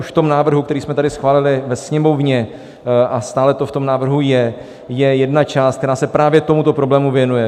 Už v tom návrhu, který jsme tady schválili ve Sněmovně, a stále to v tom návrhu je, je jedna část, která se právě tomuto problému věnuje.